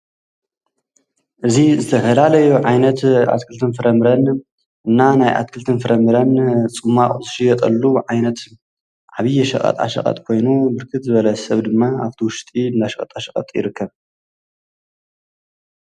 እዚ ዝተፈላለዮ ዓይነት ኣትክልቲን ፍረምረን እና ናይ ኣትክልቲን ፍረምረን ፁማቕ ዘሽየጠሉ ዓይነት ዓብዪ ሽቐጣ ሸቐጥ ኮይኑ ብርክት ዝበለ ሰብ ድማ ኣብቲ ውሽጢ እንዳ ሸቐጣ ሸቐጥ ይርከብ።